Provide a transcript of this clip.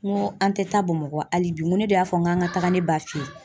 N ko an tɛ taa Bamakɔ hali bi n ko ne y'a fɔ n k'an ka taga ne b'a fɛ yen